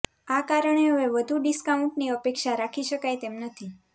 આ કારણે હવે વધુ ડિસ્કાઉન્ટની અપેક્ષા રાખી શકાય તેમ નથી